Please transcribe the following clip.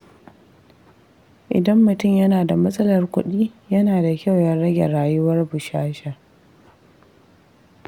Idan mutum yana da matsalar kuɗi, yana da kyau ya rage rayuwar bushasha.